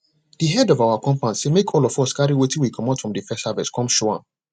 de head of our compound say make all of us carry wetin we comot from first harvest come show am